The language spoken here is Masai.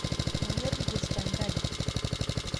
Manyor nkus tenkaji